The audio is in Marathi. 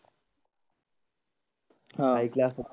हा ऐकलं असलं.